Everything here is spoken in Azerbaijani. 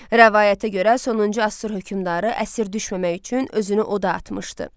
Rəvayətə görə, sonuncu Asur hökmdarı əsir düşməmək üçün özünü oda atmışdı.